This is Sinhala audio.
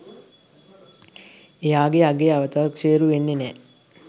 එයාගේ අගය අවතක්සේරු වෙන්නේ නෑ.